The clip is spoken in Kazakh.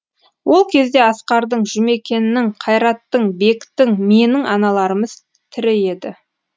ол кезде асқардың жұмекеннің қайраттың бектің менің аналарымыз тірі еді